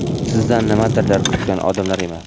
sizdan nimadirlar kutgan odamlar emas.